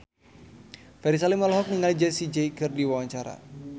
Ferry Salim olohok ningali Jessie J keur diwawancara